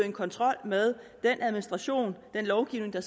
en kontrol med den administration den lovgivning der